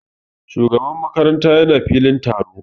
Shugaban makaranta ya na filin taro